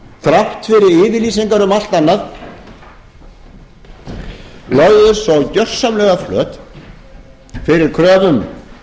þrátt fyrir yfirlýsingar um allt annað lögðust svo gjörsamlega flöt fyrir kröfum